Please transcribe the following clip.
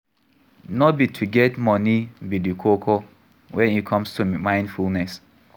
No be to get money be di koko when e comes to mindfulness